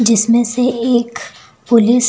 जिसमें से एक पुलिस --